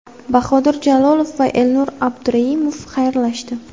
Bahodir Jalolov va Elnur Abduraimov xayrlashdi.